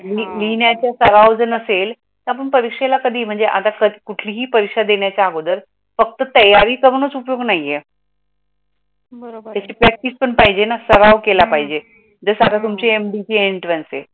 लिहिण्याचा सराव जर नसेल तर आपण परीक्षेला कधी म्हणजे आता कुठलीही परीक्षा देण्याच्या अगोदर फक्त तयारी करूनच उपयोग नाही ये. त्या याची प्रॅक्टिस पण पाहीजे ना, सराव केला पाहीजे, जस आता तुमची MD ची एंट्रान्स आहे